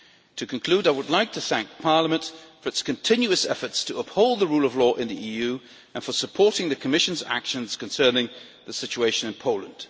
To conclude, I would like to thank Parliament for its continuous efforts to uphold the rule of law in the EU and for supporting the Commission's actions concerning the situation in Poland.